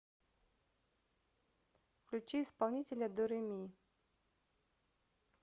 включи исполнителя до ре ми